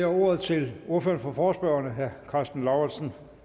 ordet til ordføreren for forespørgerne herre karsten lauritzen